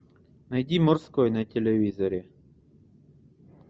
найди морской на телевизоре